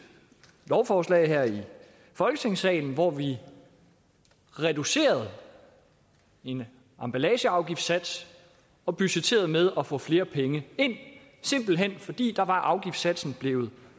lovforslag i folketingssalen hvor vi reducerede en emballageafgiftssats og budgetterede med at få flere penge ind simpelt hen fordi afgiftssatsen blevet